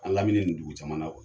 An lamini nin dugu camana